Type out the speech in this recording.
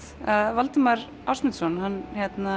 Valdimar Ásmundsson hann